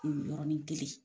Yɔrɔnin kelen.